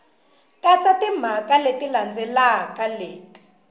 katsa timhaka leti landzelaka leti